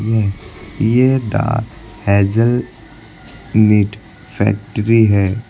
ये ये the hazelnut factory है।